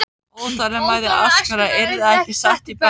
Óþolinmæði æskunnar yrði ekki sett í bönd.